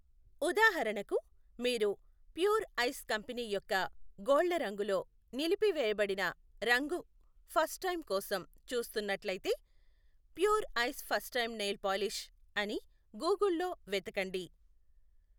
ఉదాహరణకు, మీరు pure ice company యొక్క గోళ్ళరంగులో నిలిపివేయబడిన రంగు ఫస్ట్ టైం కోసం చూస్తున్నట్లయితే, pure ice first time nail polish అని గూగుల్లో వెతకండి.